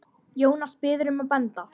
Jónas biður um að benda